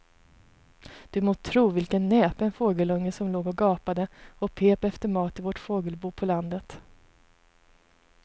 Du må tro vilken näpen fågelunge som låg och gapade och pep efter mat i vårt fågelbo på landet.